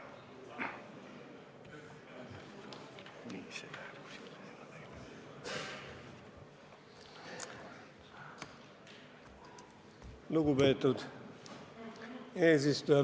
Lugupeetud eesistuja!